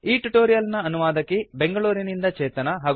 ಈ ಟ್ಯುಟೋರಿಯಲ್ ನ ಅನುವಾದಕಿ ಬೆಂಗಳೂರಿನಿಂದ ಚೇತನಾ